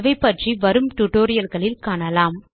இவை பற்றி வரும் tutorialகளில் காணலாம்